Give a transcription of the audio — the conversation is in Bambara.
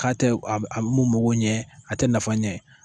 K'a tɛ a be a be mun mɔgɔw ɲɛ a tɛ nafa ɲɛ